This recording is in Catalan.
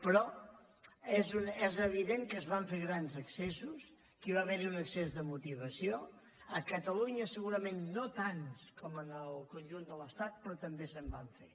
però és evident que es van fer grans excessos que hi va haver un excés de motivació a catalunya segurament no tants com en el conjunt de l’estat però també se’n van fer